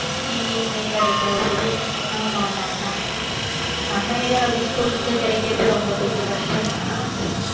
எங்கயுமே கிடைக்காது ஆமா ஆமா ஆமா ஆமா நம்ம area ல அது school க்கு கிடைக்கிறது ரொம்ப கொஞ்சம் கஷ்டம் தான்